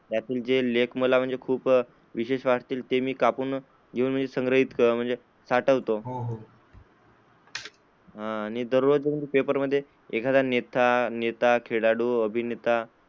त्यातून जे लेख मला खूप विशेष वाटतील ते मी कापून घेऊन संग्रहित म्हणजे साठवतो, हो हो आणि दररोज पेपर मध्ये एखादा नेता, खेळाडू,